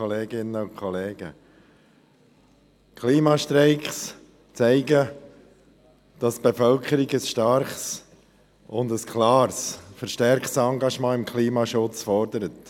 Klimastreiks zeigen, dass die Bevölkerung ein starkes und klares Engagement im Klimaschutz fordert.